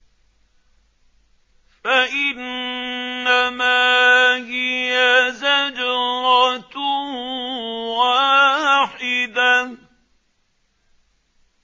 فَإِنَّمَا هِيَ زَجْرَةٌ وَاحِدَةٌ